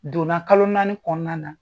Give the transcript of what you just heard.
Donna kalo naani kɔnɔna na.